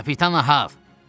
Kapitan Ahav!